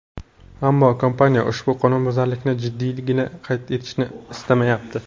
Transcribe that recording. Ammo kompaniya ushbu qonunbuzarlikning jiddiyligini qayd etishni istamayapti.